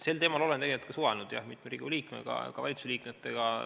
Sel teemal olen suhelnud mitme Riigikogu liikmega, ka valitsuse liikmetega.